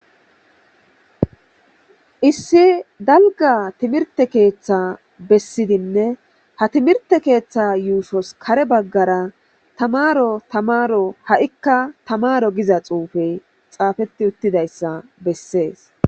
issi dalga timirte keeththa bessidinne ha timirte keeththa yuushos kare baggara tamaro tamaro ha7ikka tamaro giza xuufey xaafeti uttidayssa bessees